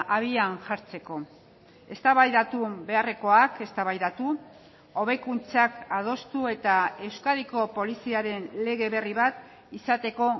abian jartzeko eztabaidatu beharrekoak eztabaidatu hobekuntzak adostu eta euskadiko poliziaren lege berri bat izateko